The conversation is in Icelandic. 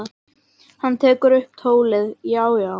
Hann tekur upp tólið: Já, já.